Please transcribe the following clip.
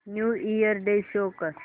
new Year day show कर